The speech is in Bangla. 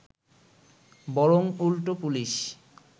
বরং উল্টো পুলিশ